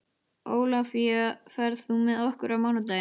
Ólafía, ferð þú með okkur á mánudaginn?